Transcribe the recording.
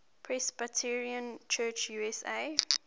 presbyterian church usa